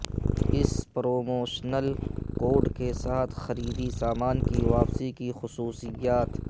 اس promotional code کے ساتھ خریدی سامان کی واپسی کی خصوصیات